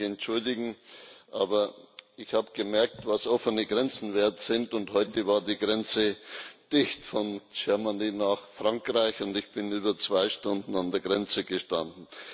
Ich muss mich entschuldigen, aber ich habe gemerkt, was offene Grenzen wert sind, und heute war die Grenze von Deutschland nach Frankreich dicht. Ich bin über zwei Stunden an der Grenze gestanden.